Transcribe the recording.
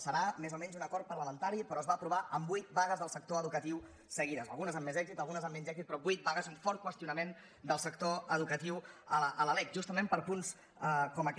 serà més o menys un acord parlamentari però es va aprovar amb vuit vagues del sector educatiu seguides algunes amb més èxit algunes amb menys èxit però vuit vagues un fort qüestionament del sector educatiu a la lec justament per punts com aquest